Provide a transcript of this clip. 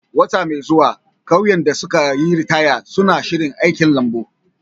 Wata mai zuwa, ƙauyen da suka yi ritaya suna shirin aikin lambun.